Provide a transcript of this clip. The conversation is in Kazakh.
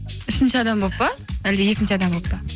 үшінші адам болып па әлде екінші адам болып па